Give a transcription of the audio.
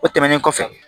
O tɛmɛnen kɔfɛ